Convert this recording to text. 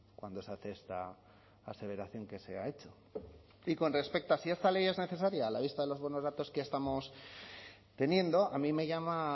cuando se hace esta aseveración que se ha hecho y con respecto a si esta ley es necesaria a la vista de los buenos datos que estamos teniendo a mí me llama